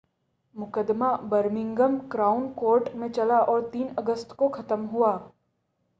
मुक़दमा Birmingham Crown Court में चला और 3 अगस्त को ख़त्म हुआ